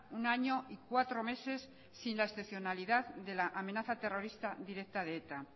un año y cuatro meses sin la excepcionalidad de la amenaza terrorista directa de eta